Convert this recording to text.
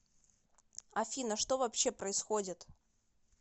афина что вообще происходит